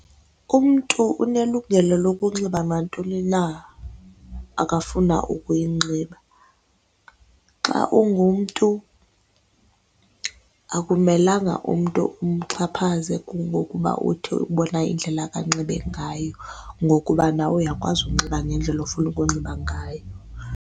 Umntu unelungelo lokunxiba nantoni na akafuna ukuyinxiba. Xa ungumntu akumelanga umntu umxhaphaze kungokuba uthi ubona indlela anxibe ngayo ngokuba nawe uyakwazi ukunxiba ngendlela ofuna ukunxiba ngayo.